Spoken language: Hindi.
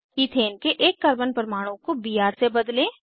ईथेन के एक कार्बन परमाणु को बीआर से बदलें